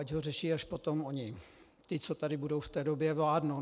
Ať ho řeší až potom oni, ti, co tady budou v té době vládnout...